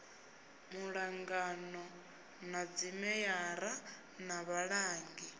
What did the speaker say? muṱangano na dzimeyara na vhalangi